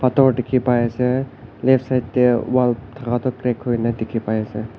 pathor dikhi pai ase left side tey wall thaka toh crack huina dikhi pai se.